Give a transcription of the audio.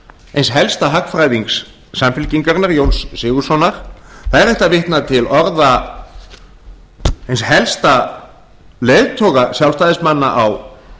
eins helsta hagfræðings samfylkingarinnar jóns sigurðssonar það er hægt að vitna til orða eins helsta leiðtoga sjálfstæðismanna á